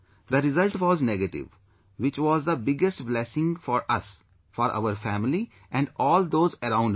The result was negative, which was the biggest blessing for us, for our family and all those around me